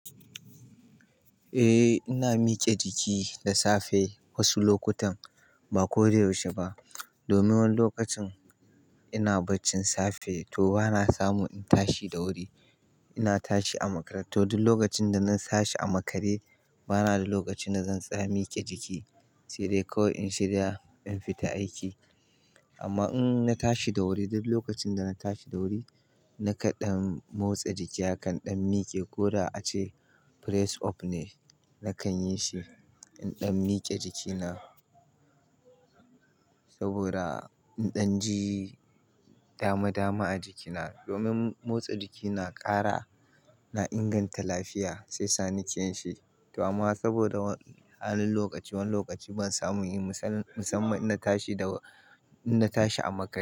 Eh ina miƙe jiki da safe wasu lokutan ba ko da yaushe ba. Domin wani lokacin ina baccin safe to bana samu in tashi da wuri. Ina tashi a makare to duk lokacin da na tashi a makare bana da lokaci na zan tsaya miƙe jiki sai dai kawai in shirya in fita aiki. Amma in na tashi da wuri duk lokacin da na tashi da wuri na kaɗɗan motsa jiki akan ɗan miƙe ko da ace press up ne nakan yi shi in ɗan miƙe jikina saboda in ɗan ji dama dama a jikina. Domin motsa jiki na ƙara na inganta lafiya sai sani keyan shi. To amma saboda wani halin lokaci wani lokaci ban samu yin musamman in na tashi da in na tashi a makare.